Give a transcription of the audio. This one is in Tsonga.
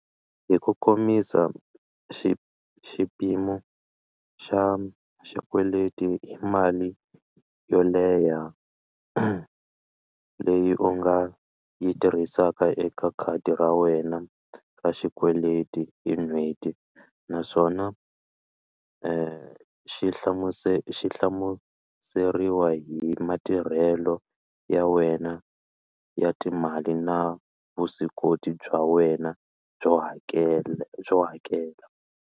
Hi ku komisa xi xipimo xa xikweleti i mali yo leha leyi u nga yi tirhisaka eka khadi ra wena ra xikweleti hi n'hweti naswona xi hlamusela xi hlamuseriwa hi matirhelo ya wena ya timali na vuswikoti bya wena byo hakela byo hakela.